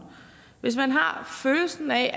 hvis man har følelsen af